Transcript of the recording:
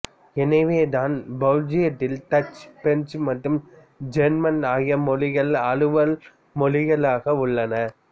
எனவே தான் பெல்ஜியத்தில் டச்சு பிரெஞ்சு மற்றும் ஜெர்மன் ஆகிய மொழிகள் அலுவல் மொழிகளாக உள்ளன